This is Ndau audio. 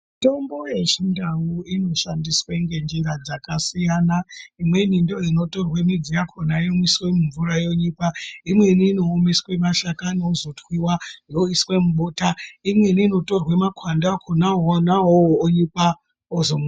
Mitombo yechindau inoshandiswe ngenjira dzakasiyana imwe ndoinotorwe midzi yakhona yomwiswe mumvura yonyikwa imweni inoomeswa mashakani ozotwiwa oiswe mubota imweni inotorwe makwande akhona awawo onyikwa ozo.